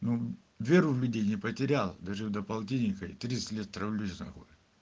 ну веру в людей не потерял дожил до полтиника и тридцать лет травлюсь на хуй